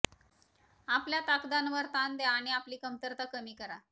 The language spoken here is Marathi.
आपल्या ताकदांवर ताण द्या आणि आपली कमतरता कमी करा